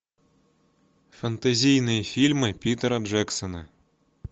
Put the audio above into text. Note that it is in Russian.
фэнтезийные фильмы питера джексона